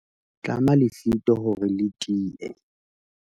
tlama lefito hore le tie